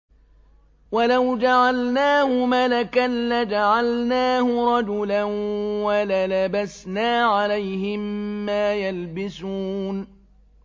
وَلَوْ جَعَلْنَاهُ مَلَكًا لَّجَعَلْنَاهُ رَجُلًا وَلَلَبَسْنَا عَلَيْهِم مَّا يَلْبِسُونَ